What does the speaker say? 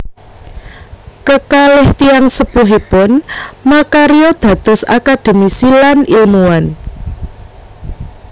Kekalih tiyang sepuhipun makarya dados akademisi lan ilmuwan